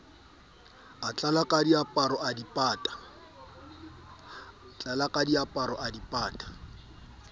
tlela diaparo a di pata